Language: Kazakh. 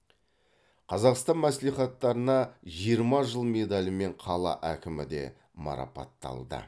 қазақстан мәслихаттарына жиырма жыл медалімен қала әкімі де марапатталды